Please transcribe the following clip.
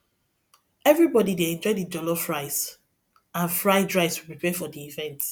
everybody dey enjoy the jollof rice and fried plantain we prepare for the event